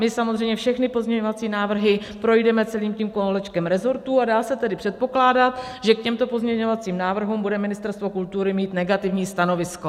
My samozřejmě všechny pozměňovací návrhy projdeme celým tím kolečkem resortů, a dá se tedy předpokládat, že k těmto pozměňovacím návrhům bude Ministerstvo kultury mít negativní stanovisko.